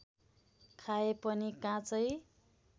खाए पनि काँचै